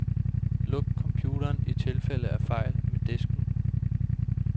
Luk computeren i tilfælde af fejl med disken.